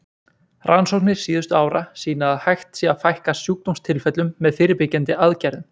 Rannsóknir síðustu ára sýna að hægt sé að fækka sjúkdómstilfellum með fyrirbyggjandi aðgerðum.